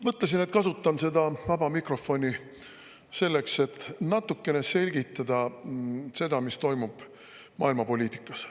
Mõtlesin, et kasutan seda vaba mikrofoni selleks, et natukene selgitada, mis toimub maailmapoliitikas.